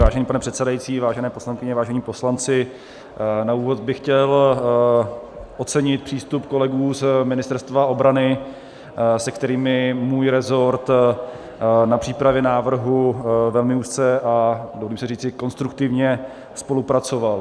Vážený pane předsedající, vážené poslankyně, vážení poslanci, na úvod bych chtěl ocenit přístup kolegů z Ministerstva obrany, s kterými můj rezort na přípravě návrhu velmi úzce a dovolím si říci konstruktivně spolupracoval.